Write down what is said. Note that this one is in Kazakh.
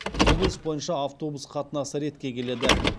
облыс бойынша автобус қатынасы ретке келеді